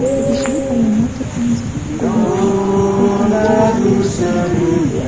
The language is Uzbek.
Tegishli bayonot Turkmaniston hukumati portaliga joylashtirilgan .